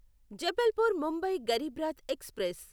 Jabalpur Mumbai Garib Rath express